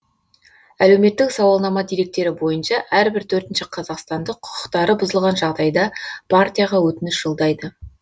әлеуметтік сауалнама деректері бойынша әрбір төртінші қазақстандық құқықтары бұзылған жағдайда партияға өтініш жолдайды